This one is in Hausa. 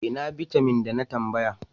Ina bitamin da na tambaya?